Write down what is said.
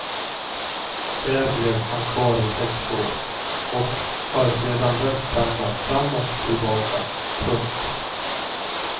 Där blev han kvar i sex år och har sedan dess pendlat fram och tillbaka. punkt